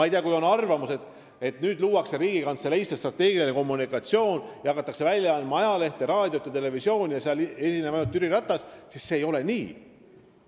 Kui teil on arvamus, et Riigikantseleisse luuakse strateegilise kommunikatsiooni osakond, kus hakatakse välja andma ajalehte ning tegema raadiot ja televisiooni, kus esineb ainult Jüri Ratas, siis see ei ole nii.